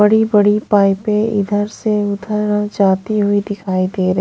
बड़ी-बड़ी पायतें इधर से उधर जाती हुई दिखाई दे रही।